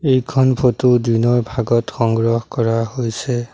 এইখন ফটো দিনৰ ভাগত সংগ্ৰহ কৰা হৈছে।